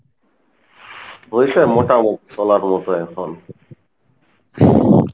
হইছে মোটামটি চলার মতো এখন।